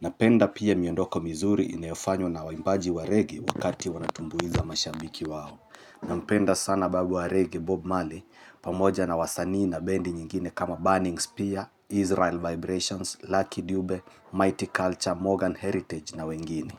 Napenda pia miondoko mizuri inayofanywa na waimbaji wa reggae wakati wanatumbuiza mashambiki wao na mpenda sana babu wa reggae Bob mali pamoja na wasanii na bendi nyingine kama Burning Spear, Israel Vibrations, Lucky Dupe, Mighty Culture, Morgan Heritage na wengine.